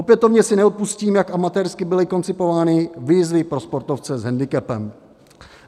Opětovně si neodpustím, jak amatérsky byly koncipovány výzvy pro sportovce s hendikepem.